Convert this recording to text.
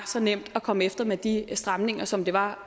så nemt at komme efter med de stramninger som det var